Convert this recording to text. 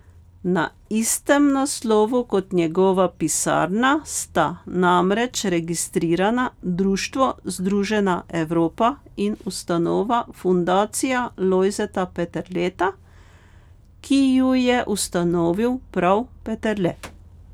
Na istem naslovu kot njegova pisarna sta namreč registrirana Društvo združena Evropa in ustanova Fundacija Lojzeta Peterleta, ki ju je ustanovil prav Peterle.